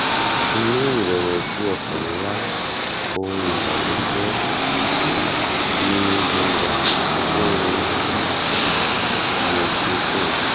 inú ìrẹ̀wẹ̀sì ọkàn ńlá òhun ìbànújẹ́ ni mo wà fún ohun tí mo ṣe fún un